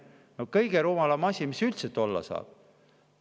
See on kõige rumalam asi, mis üldse olla saab.